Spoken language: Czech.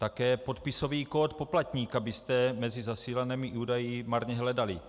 Také podpisový kód poplatníka byste mezi zasílanými údaji marně hledali.